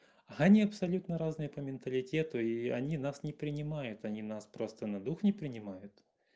они абсолютно разные по менталитету и они нас не принимают они нас просто на дух не принимают